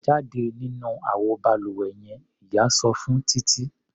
Jáde nínú àwo balùwẹ yen! Ìyá sọ fún Títí.